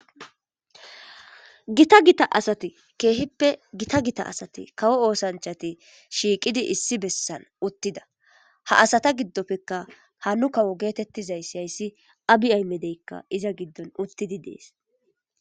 Gita gita asati kehippe gita gita asati kawo oosanchati shiqidi issi bessan uttida. Ha asata gidopeka ha nu kawo getetizaysi haysi abiy ahmedeyka iza gidon uttidi dees.